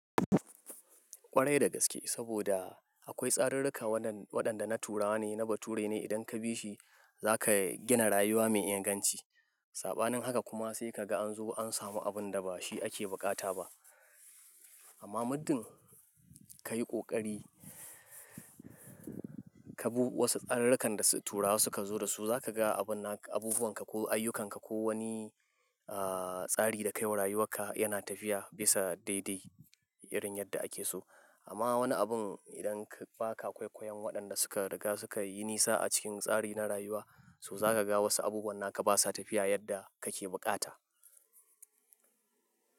Ƙwarai da gaske saboda akwai tsarurruka waɗanda na turawa ne, na bature ne, idan ka bi shi za ka gina rayuwa mai inganci. Saɓanin haka kuma sai ka ga an zo an samu abun da ba shi ake buƙata ba. Amma muddin ka yi ƙoƙari, ka bi wasu tsarurrukan da turawa suka zo da su, za ka ga abubuwan ka ko ayyukan ka ko wani, ah, tsari da ka yi wa rayuwar ka yana tafiya bisa daidai irin yadda ake so. Amma wani abun idan ba ka kwaikwayon waɗanda suka riga suka yi nisa a cikin tsari na rayuwa, to za ka ga wasu abubuwan na ka ba sa tafiya yadda kake bukata.